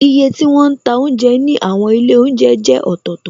Iye tí wọn ń ta oúnjẹ ní àwọn ilé oúnjẹ jẹ́ ọ̀tọ̀tọ̀,